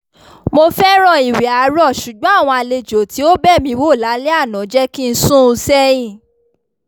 mo fẹ́ràn ìwẹ̀ àárọ̀ ṣùgbọ́n àwọn àlejò tí ó bẹ̀ mí wò lálẹ́ àná jẹ́ kí n sún un sẹ́yìn